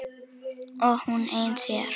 Og hún ein síðar.